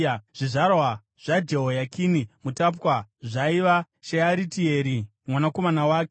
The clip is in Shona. Zvizvarwa zvaJehoyakini mutapwa zvaiva: Shearitieri mwanakomana wake,